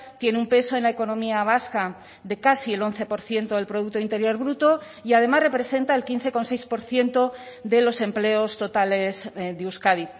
tiene un peso en la economía vasca de casi el once por ciento del producto interior bruto y además representa el quince coma seis por ciento de los empleos totales de euskadi